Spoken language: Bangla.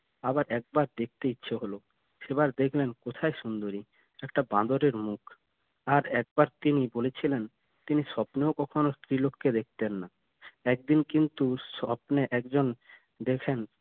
আবার একবার দেখতে ইচ্ছে হলো সেবার দেখলেন কোথায় সুন্দরী একটা বাঁদরের মুখ আর একবার তিনি বলেছিলেন তিনি স্বপ্নেও কখনো স্ত্রীলোককে দেখতেন না একদিন কিন্তু স্বপ্নে একজন দেখেন